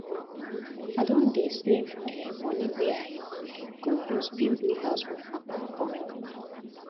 i don dey save um moni wey i um go use build new house for my papa for my papa